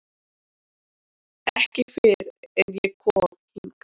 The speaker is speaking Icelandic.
Ekki fyrr en ég kom hingað.